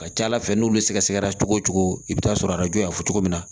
Ka ca ala fɛ n'olu sɛgɛsɛgɛra cogo o cogo i bɛ taa sɔrɔ arajo y'a fɔ cogo min na